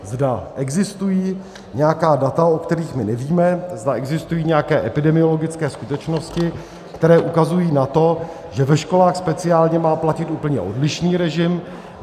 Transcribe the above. Zda existují nějaká data, o kterých my nevíme, zda existují nějaké epidemiologické skutečnosti, které ukazují na to, že ve školách speciálně má platit úplně odlišný režim.